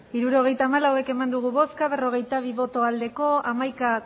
hirurogeita hamalau eman dugu bozka berrogeita bi bai hamaika